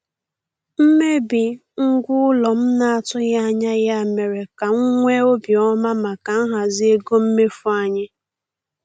Mmebi ngwa ụlọ m na-atụghị anya ya mere ka m nwee obi ọma maka nhazi ego mmefu anyị.